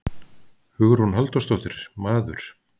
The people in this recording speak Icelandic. Hugrún Halldórsdóttir: Maður?